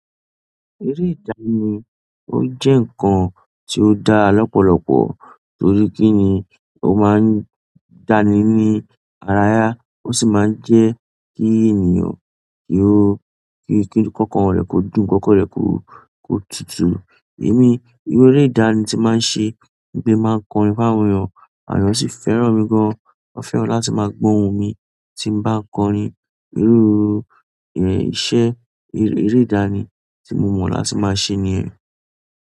Eré ìdá ni ó jẹ́ nǹkan tí ó dá lọ́pọ̀lọpọ̀ torí kí ni ó máa ń dá ni ní ara ya, ó sì máa ń jẹ́ kí ènìyàn kí ó kí kankàn rẹ̀ kò dùn kankan rẹ̀ kó kó tutù. Èmi eré ìdá ni tí máa ń ṣe gbé máa ń kọrin fáwọn èèyàn, àwọn èèyàn sì fẹ́ràn mi gan. Wọn fẹ́ràn láti maa gbọ ohun mi tin ba kọrin. Irú iṣẹ́ eré ìdá ni tí mo mọ̀ láti máa ṣe nìyẹn.